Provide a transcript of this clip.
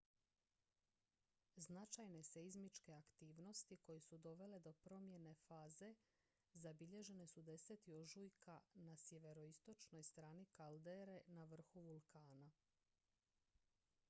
značajne seizmičke aktivnosti koje su dovele do promjene faze zabilježene su 10. ožujka na sjeveroistočnoj strani kaldere na vrhu vulkana